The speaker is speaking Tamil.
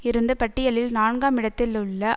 இருந்து பட்டியலில் நான்காம் இடத்தில் உள்ள